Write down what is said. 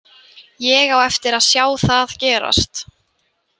Ég á eftir að sjá það gerast.